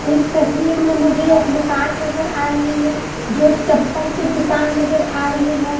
इस तस्वीर में मुझे एक दुकान नजर आ रही है जो चप्पल के दुकान नजर आ रही है।